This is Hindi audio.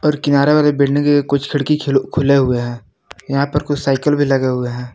किनारे वाले बिल्डिंग के लिए कुछ खिड़की खिले खुले हुए हैं यहां पर कुछ साइकिल भी लगे हुए हैं।